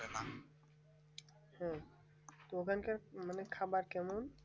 হুম প্রধান কাজ মানে খাবার টা নাই